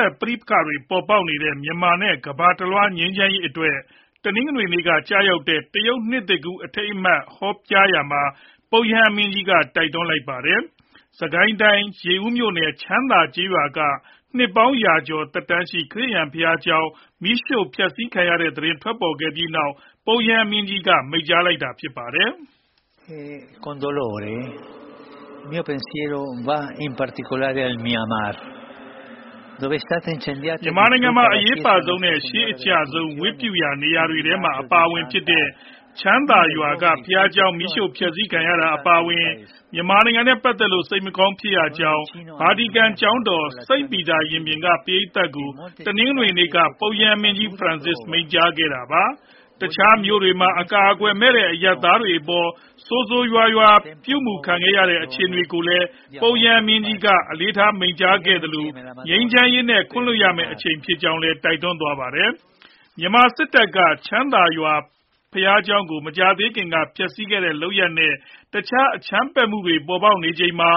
က် ပဋိပက္ခတွေ ပေါ်ပေါက်နေတဲ့ မြန်မာနဲ့ ကမ္ဘာတလွှား ငြိမ်းချမ်းရေးအတွက် တနင်္ဂနွေနေ့က ကျရောက်တဲ့ တရုတ်နှစ်သစ်ကူး အထိမ်းအမှတ် ဟောကြားရာမှာ ပုပ်ရဟန်းမင်းကြီးက တိုက်တွန်းလိုက်ပါတယ်။ စစ်ကိုင်းတိုင်း၊ ရေဦးမြို့နယ်၊ ချမ်းသာကျေးရွာက နှစ်ပေါင်းရာကျော် ခရစ်ယာန်ဘုရားကျောင်း မီးရှို့ဖျက်ဆီးခံရတဲ့ သတင်းထွက်ပေါ်ခဲ့ပြီးနောက်မှာ ပုပ်ရဟန်းမင်းကြီး မိန့်ကြားလိုက်တာလည်း ဖြစ်ပါတယ်။ မြန်မာနိုင်ငံမှာ အရေးအပါဆုံးနဲ့ ရှေးအကျဆုံး ဝတ်ပြုရာနေရာတွေထဲမှာ အပါအဝင်ဖြစ်တဲ့ ချမ်းသာရွာက ဘုရားကျောင်း မီးရှို့ဖျက်ဆီးခံရတာ အပါအဝင် မြန်မာနိုင်ငံနဲ့ ပတ်သက်လို့ စိတ်မကောင်းဖြစ်ရကြောင်း ဗာတီကန်ကျောင်းတော် စိန့်ပီတာရင်ပြင်က ပရိတ်သတ်ကို တနင်္ဂနွေနေ့က ပုပ်ရဟန်းမင်းကြီး Francis မိန့်ကြားခဲ့တာပါ။ တခြားမြို့တွေမှာ အကာအကွယ်မဲ့တဲ့ အရပ်သားတွေအပေါ် ဆိုးဆိုးရွားရွား ပြုုမူခံနေရတဲ့ အခြေအနေတွေကိုလည်း ပုပ်ရဟန်းမင်းကြီးက အလေးထား မိန့်ကြားခဲ့သလို၊ ငြိမ်းချမ်းရေးနဲ့ ခွင့်လွှတ်ရမယ့် အချိန်ဖြစ်ကြောင်းလည်း တိုက်တွန်းသွားပါတယ်။ မြန်မာစစ်တပ်က ချမ်းသာရွာ ဘုရားကျောင်းကို မကြာသေးခင်က ဖျက်ဆီးခဲ့တဲ့ လုပ်ရပ်နဲ့ တခြားအကြမ်းဖက်မှုတွေ ပေါ်ပေါက်နေချိန်မှာ